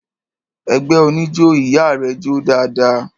Ẹgbẹ́ oníjó ìyá rẹ jó dáadáa.